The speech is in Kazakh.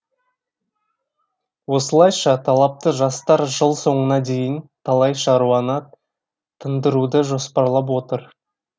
осылайша талапты жастар жыл соңына дейін талай шаруаны тындыруды жоспарлап отыр